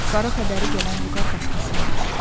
Qara xəbəri gələn Vüqar başqası imiş.